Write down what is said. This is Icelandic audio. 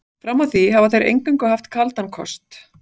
Fram að því hafa þeir eingöngu haft kaldan kost.